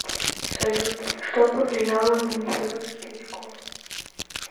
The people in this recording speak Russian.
салют что повлияло на могила светлячков